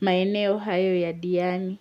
maeneo hayo ya Diani.